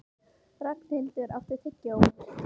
Ragnhildur, áttu tyggjó?